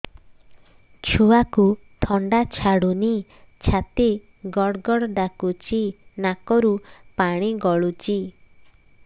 ଛୁଆକୁ ଥଣ୍ଡା ଛାଡୁନି ଛାତି ଗଡ୍ ଗଡ୍ ଡାକୁଚି ନାକରୁ ପାଣି ଗଳୁଚି